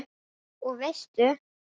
Og veistu.